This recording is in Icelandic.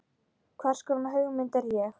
Hvers konar hugmynd er ég?